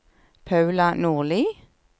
Paula Nordli